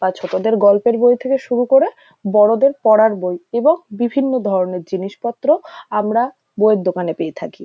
বা ছোটদের গল্পের বই থেকে শুরু করে বড়োদের পড়ার বই এবং বিভিন্ন ধরণের জিনিসপত্র আমরা বইয়ের দোকানে পেয়ে থাকি।